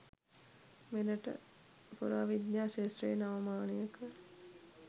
මෙරට පුරාවිද්‍යා ක්‍ෂේත්‍රයේ නව මානයක